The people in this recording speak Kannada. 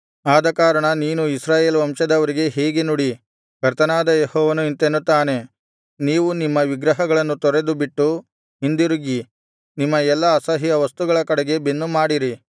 ಆದಕಾರಣ ನೀನು ಇಸ್ರಾಯೇಲ್ ವಂಶದವರಿಗೆ ಹೀಗೆ ನುಡಿ ಕರ್ತನಾದ ಯೆಹೋವನು ಇಂತೆನ್ನುತ್ತಾನೆ ನೀವು ನಿಮ್ಮ ವಿಗ್ರಹಗಳನ್ನು ತೊರೆದುಬಿಟ್ಟು ಹಿಂದಿರುಗಿ ನಿಮ್ಮ ಎಲ್ಲಾ ಅಸಹ್ಯ ವಸ್ತುಗಳ ಕಡೆಗೆ ಬೆನ್ನುಮಾಡಿರಿ